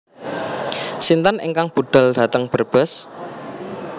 Sinten ingkang budal dateng Brebes?